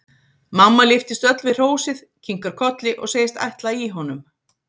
Mamma lyftist öll við hrósið, kinkar kolli og segist ætla í honum.